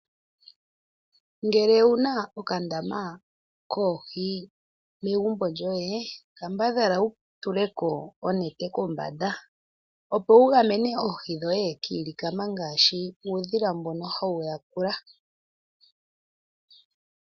Ngele owuna okandama koohi megumbo lyoye kambadhala wutuleko onete kombanga opowu gamene oohi dhoye kilikama ngaashi uudhila mbono hawu yakula.